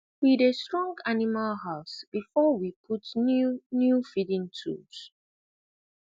we dey strong animal house before we put new new feeding tools